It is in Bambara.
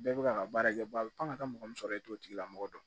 Bɛɛ bɛ ka baara kɛ fan ka taa mɔgɔ min sɔrɔ e t'o tigila mɔgɔ dɔn